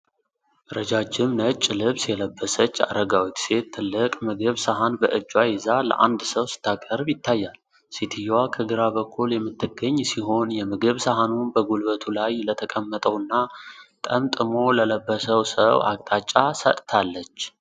ረጃጅም ነጭ ልብስ የለበሰች አረጋዊት ሴት ትልቅ የምግብ ሰሃን በእጇ ይዛ ለአንድ ሰው ስታቀርብ ይታያል። ሴትየዋ ከግራ በኩል የምትገኝ ሲሆን፤ የምግብ ሰሃኑን በጉልበቱ ላይ ለተቀመጠውና ጠምጥሞ ለለበሰው ሰው አቅጣጫ ሰጥታለች።